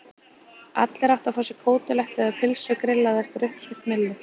Allir áttu að fá sér kótelettu eða pylsu grillaða eftir uppskrift Millu.